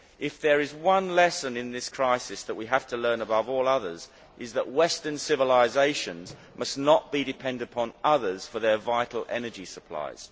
If there is one lesson in this crisis that we have to learn above all others, it is that western civilisations must not be dependent on others for their vital energy supplies.